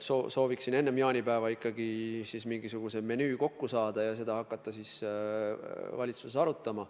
Me loodame enne jaanipäeva mingisuguse menüü kokku saada ja siis hakata seda valitsuses arutama.